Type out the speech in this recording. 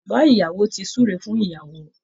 Bàbá ìyàwó ti súre fún ìyàwó